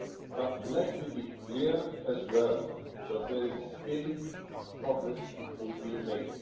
But let me be clear as well that there is still progress to be made.